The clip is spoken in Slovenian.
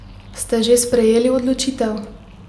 Ste že sprejeli odločitev?